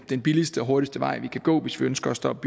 den billigste og hurtigste vej vi kan gå hvis vi ønsker at stoppe